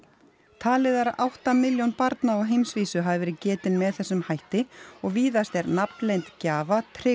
talið er að átta milljón barna á heimsvísu hafi verið getin með þessum hætti og víðast er nafnleynd gjafa tryggð